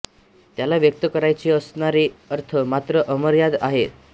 त्याला व्यक्त करायचे असणारे अर्थ मात्र अमर्याद आहेत